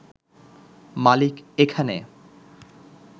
মালিক এখানে